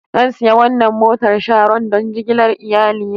Zan sayi wannan motar Sharon don jigilar iyalina.